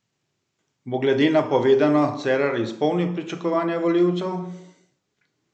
Bo glede na povedano Cerar izpolnil pričakovanja volilcev?